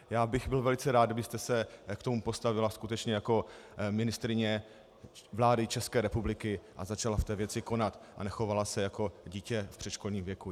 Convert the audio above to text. Já bych byl velice rád, kdybyste se k tomu postavila skutečně jako ministryně vlády České republika a začala v té věci konat a nechovala se jako dítě v předškolním věku.